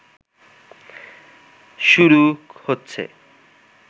শুরু হচ্ছে